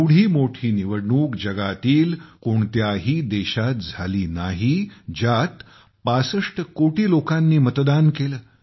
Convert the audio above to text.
एवढी मोठी निवडणूक जगातील कोणत्याही देशात झाली नाही ज्यात 65 कोटी लोकांनी मतदान केले